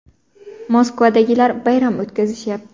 Moskvadagilar bayram o‘tkazishyapti.